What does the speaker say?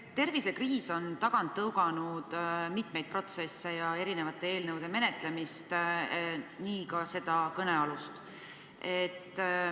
Tervisekriis on tagant tõuganud mitmeid protsesse ja erinevate eelnõude menetlemist, nii ka kõnealust.